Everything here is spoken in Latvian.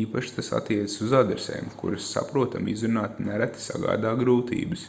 īpaši tas attiecas uz adresēm kuras saprotami izrunāt nereti sagādā grūtības